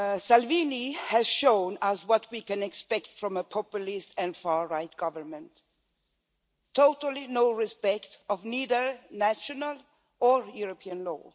Salvini has shown us what we can expect from a populist and far right government absolutely no respect for either national or European law.